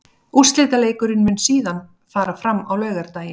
Úrslitaleikurinn mun síðan fara fram á laugardaginn.